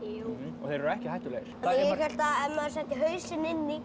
og þeir eru ekki hættulegir ég hélt að ef maður setti hausinn inn í